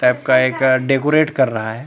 Type का एक decorate कर रहा है।